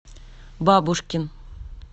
бабушкин